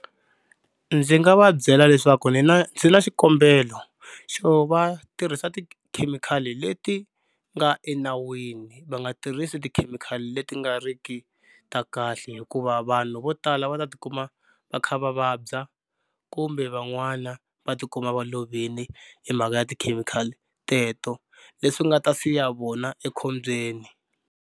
Ndzi nga va byela leswaku ni na ndzi na xikombelo xo va tirhisa tikhemikhali leti nga enawini va nga tirhisi tikhemikhali leti nga ri ki ta kahle hikuva vanhu vo tala va ta tikuma va kha va vabya kumbe van'wana va tikuma va lovile hi mhaka ya tikhemikhali teto leswi nga ta siya vona ekhombyeni.